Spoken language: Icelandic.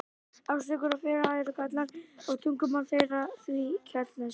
Ástríkur og félaga eru Gallar og tungumál þeirra því keltneskt.